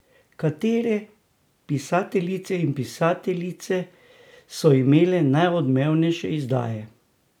Kateri pisateljice in pisateljice so imeli najodmevnejše izdaje?